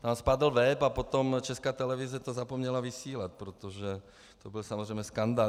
Tam spadl web a potom Česká televize to zapomněla vysílat, protože to byl samozřejmě skandál.